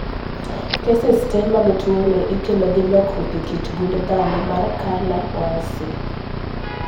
keses tee mag tuoni ikelo gi lokruok e kit gund dhano mar CANA1C